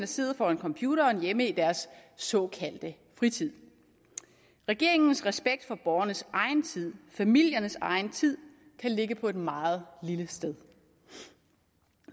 sidder foran computeren hjemme i deres såkaldte fritid regeringens respekt for borgernes egen tid familiernes egen tid kan ligge på et meget lille sted